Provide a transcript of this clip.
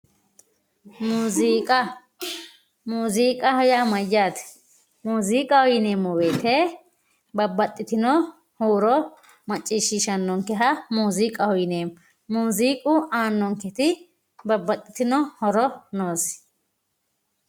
muziiqa muziiqaho yaa mayyate moziiqaho yineemmo woyte babbaxitinno huuro macciishshiisshannonkeha muziiqaho yineemmo muziiquaannonketi babbaxitinno horo noonke